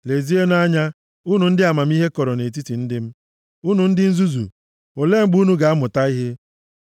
Lezienụ anya, unu ndị amamihe kọrọ nʼetiti ndị m; unu ndị nzuzu, olee mgbe unu ga-amụta ihe?